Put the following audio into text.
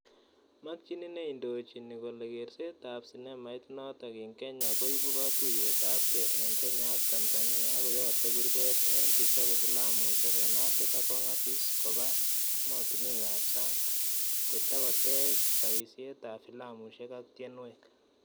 Makchini neindoochini kole keerseet ap cinemait nootok ing' kenya koibu katuiyetapge eng' kenya ak tanzania akoyate kurgeet eng' chechobe filamusiek eng' africa kong'asis kobaa emotunwek ap sang' kotogoteech paisieet ap filamusiek ak tienweek.